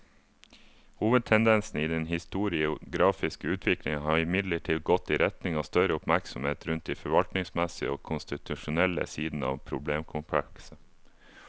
Hovedtendensen i den historiografiske utviklingen har imidlertid gått i retning av større oppmerksomhet rundt de forvaltningsmessige og konstitusjonelle sidene av problemkomplekset.